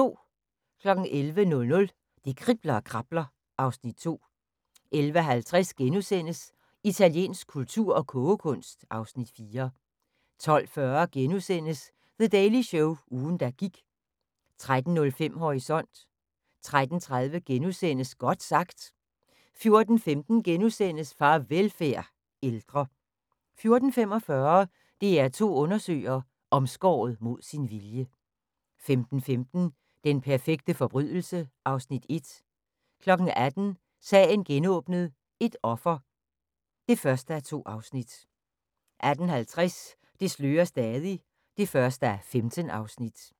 11:00: Det kribler og krabler (Afs. 2) 11:50: Italiensk kultur og kogekunst (Afs. 4)* 12:40: The Daily Show – ugen der gik * 13:05: Horisont 13:30: Godt sagt * 14:15: Farvelfærd: Ældre * 14:45: DR2 undersøger: Omskåret mod sin vilje 15:15: Den perfekte forbrydelse (Afs. 1) 18:00: Sagen genåbnet: Et offer (1:2) 18:50: Det slører stadig (1:15)